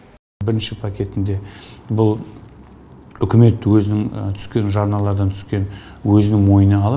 бірінші пакетінде бұл үкімет өзінің түскен жарналардан түскен өзінің мойнына алып